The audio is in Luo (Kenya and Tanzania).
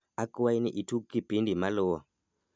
akwai ni itug kipindi maluwo